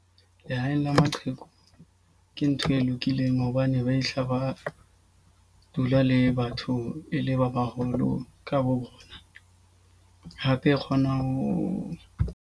Lehaeng la maqheku ke ntho e lokileng hobane ba fihla ba dula le batho e le ba baholo ka bo bona. Hape e kgona ho.